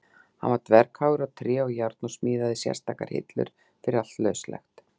Hann var dverghagur á tré og járn og smíðaði sérstakar hillur fyrir allt lauslegt.